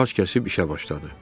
Ağac kəsib işə başladı.